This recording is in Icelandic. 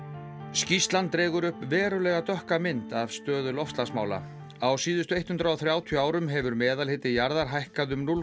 skýrslunnar draga upp verulega dökka mynd af stöðu loftslagsmála á síðustu hundrað og þrjátíu árum hefur meðalhiti jarðar hækkað um núll